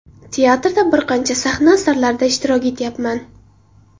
Teatrda bir qancha sahna asarlarida ishtirok etyapman.